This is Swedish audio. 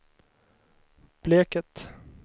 Bleket